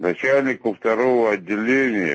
начальнику второго отделения